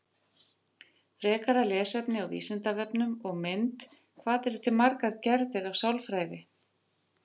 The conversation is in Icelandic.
Frekara lesefni á Vísindavefnum og mynd Hvað eru til margar gerðir af sálfræði?